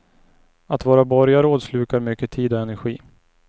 Att vara borgarråd slukar mycket tid och energi.